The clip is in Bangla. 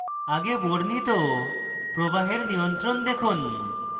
আগে বর্ণিত প্রবাহের নিয়ন্ত্রণ দেখুন